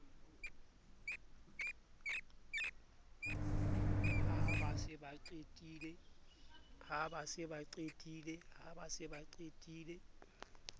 ha ba se ba qetile